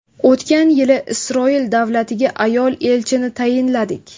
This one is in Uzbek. O‘tgan yili Isroil davlatiga ayol elchini tayinladik.